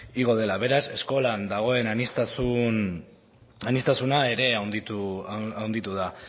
igo dela beraz eskolan dagoen aniztasuna ere handitu da